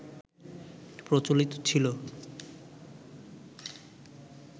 প্রচলিত ছিল